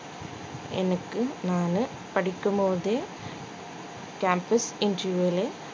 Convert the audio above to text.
எனக்கு நானு படிக்கும் போதே campus interview ல